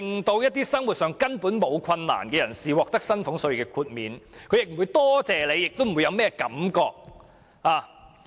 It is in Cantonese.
他們在生活上根本毫無困難，獲寬減薪俸稅也不會感謝政府，更不會有甚麼任何感覺。